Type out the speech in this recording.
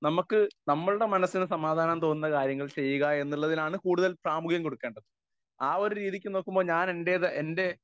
speaker 1 നമുക്ക് നമ്മുടെ മനസ്സിന് സമാദാനം തോന്നുന്ന കാര്യങ്ങൾ ചെയ്യുക എന്നുള്ളതിനാണ് കൂടുതൽ പ്രാമുഗ്യം കൊടുക്കേണ്ടത് ആ ഒരു രീതിക്കു നോക്കുമ്പോ ഞാൻ എൻ്റെതാ എൻ്റെ